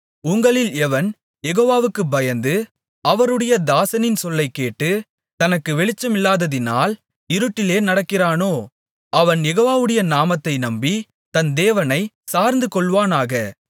உங்களில் எவன் யெகோவாவுக்குப் பயந்து அவருடைய தாசனின் சொல்லைக் கேட்டு தனக்கு வெளிச்சமில்லாததினால் இருட்டிலே நடக்கிறானோ அவன் யெகோவாவுடைய நாமத்தை நம்பி தன் தேவனைச் சார்ந்துகொள்வானாக